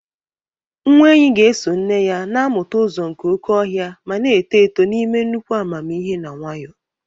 Nwa enyi ga-eso nne ya, na-amụta ụzọ nke oke ọhịa ma na-eto eto n'ime nnukwu amamihe na nwayọọ.